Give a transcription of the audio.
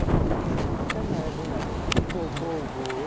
Deyirəm ay kişi, sən mənə demədin ki, qol vur.